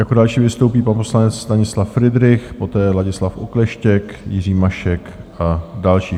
Jako další vystoupí pan poslanec Stanislav Fridrich, poté Ladislav Okleštěk, Jiří Mašek a další.